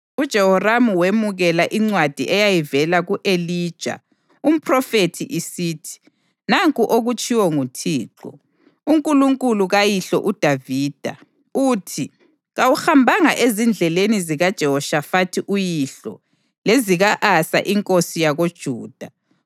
UJehoramu wemukela incwadi eyayivela ku-Elija umphrofethi isithi: “Nanku okutshiwo nguThixo, uNkulunkulu kayihlo uDavida, uthi: ‘Kawuhambanga ezindleleni zikaJehoshafathi uyihlo lezika-Asa inkosi yakoJuda.